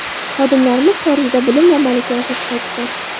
Xodimlarimiz xorijda bilim va malaka oshirib qaytdi”.